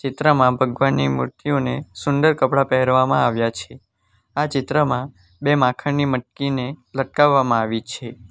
ચિત્રમાં ભગવાનની મૂર્તિઓને સુંદર કપડાં પહેરવામાં આવ્યા છે આ ચિત્રમાં બે માખણ ની મટકીને લટકાવવામાં આવી છે.